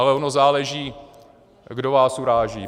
Ale ono záleží, kdo vás uráží.